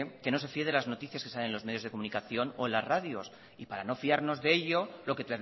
que no se fíe de las noticias que salen en los medios de comunicación o en las radios y para no fiarnos de ello lo que